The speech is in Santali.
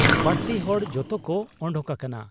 ᱵᱟᱹᱲᱛᱤ ᱦᱚᱲ ᱡᱚᱛᱚᱠᱚ ᱚᱰᱚᱠ ᱟᱠᱟᱱᱟ ᱾